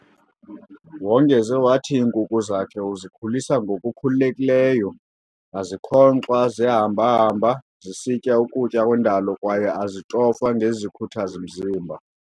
Wongeze wathi iinkukhu zakhe uzikhulisa ngokukhululekileyo, azikhonkxwa ziyahamba-hamba zisitya ukutya kwendalo kwaye azitofwa ngezikhuthazi-mzimba.